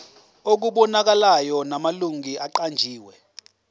okubonakalayo namalungu aqanjiwe